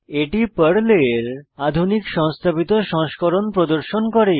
এটি পর্লের আধুনিক সংস্থাপিত সংস্করণ প্রদর্শন করে